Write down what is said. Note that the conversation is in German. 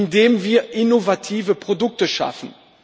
Indem wir innovative Produkte schaffen.